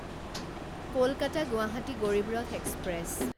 Kolkata Guwahati Garib Rath express